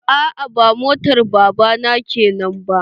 A'a ba motar baba na kenan ba.